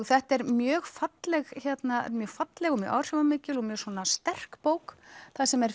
þetta er mjög falleg mjög falleg og mjög áhrifamikil og mjög sterk bók þar sem er